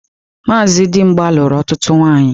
Maazị Dimgba lụrụ ọtụtụ nwaanyị.